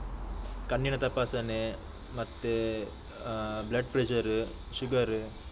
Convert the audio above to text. ಕಣ್ಣಿನ ತಪಾಸಣೆ ಮತ್ತೆ ಆ blood pressure sugar .